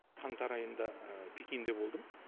қаңтар айында пекинде болдым